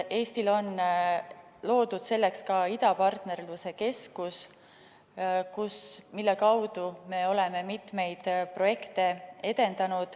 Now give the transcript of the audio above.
Eestil on loodud selleks ka idapartnerluse keskus, mille kaudu me oleme edendanud mitmeid projekte.